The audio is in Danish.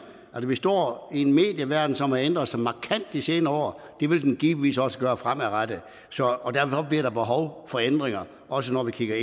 vi står i en medieverden som har ændret sig markant de senere år det vil den givetvis også gøre fremadrettet og derfor bliver der behov for ændringer også når vi kigger